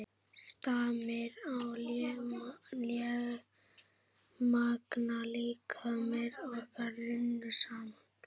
Stamir og lémagna líkamir okkar runnu saman.